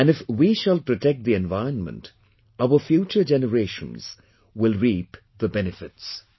And if we shall protect the environment, our future generations will reap the benefits